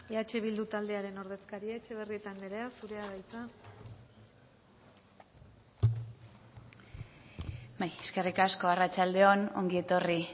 eh bildu taldearen ordezkaria etxebarrieta anderea zurea da hitza bai eskerrik asko arratsalde on ongi etorri